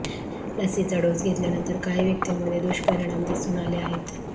लसीचा डोस घेतल्यानंतर काही व्यक्तींमध्ये दुष्परिणाम दिसून आले आहेत